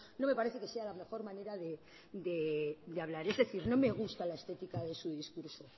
no me parece que sea la mejormanera de hablar es decir no me gusta la estética de su discurso